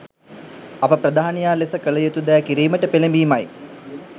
අප ප්‍රධානියා ලෙස කල යුතු දෑ කිරීමට පෙළඹීමයි